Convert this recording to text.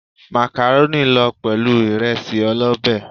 Màkàrónì lọ pẹ̀lú ìresí ọlọ́bé.